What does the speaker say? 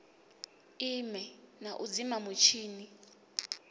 ime na u dzima mutshini